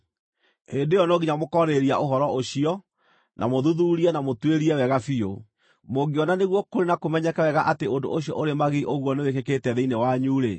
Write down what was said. hĩndĩ ĩyo no nginya mũkoorĩrĩria ũhoro ũcio, na mũũthuthuurie na mũũtuĩrie wega biũ. Mũngĩona nĩguo kũrĩ na kũmenyeke wega atĩ ũndũ ũcio ũrĩ magigi ũguo nĩwĩkĩkĩte thĩinĩ wanyu-rĩ,